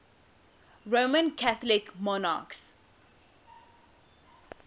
roman catholic monarchs